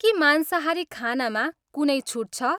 के मांसाहारी खानामा कुनै छुट छ?